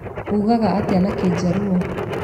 Ũugaga atĩa na kĩnjaruo?